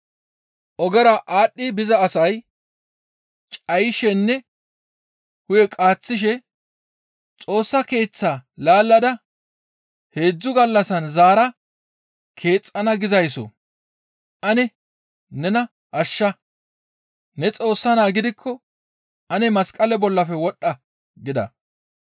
Ogera aadhdhi biza asay cayishenne hu7e qaaththishe, «Xoossa Keeththaa laallada heedzdzu gallassan zaara keexxana gizayssoo! Ane nena ashsha; ne Xoossa Naa gidikko ane masqaleza bollafe wodhdha» gida.